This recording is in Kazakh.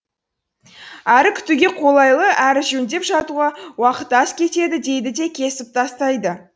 әрі күтуге қолайлы әрі жөндеп жатуға уақыт аз кетеді дейді де кесіп тастайды